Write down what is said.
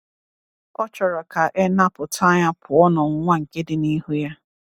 Ọ chọrọ ka e napụta ya pụọ n’ọnwụnwa nke dị n’ihu Ya.